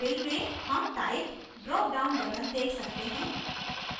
fill में हम type dropdown button देख सकते हैं